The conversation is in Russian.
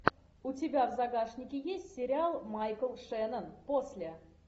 у тебя в загашнике есть сериал майкл шеннон после